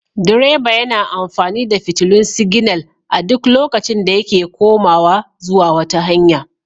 Direba yana amfani da fitilun siginal a duk lokacin da yake komawa zuwa wata hanya.